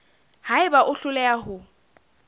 ha eba o hloleha ho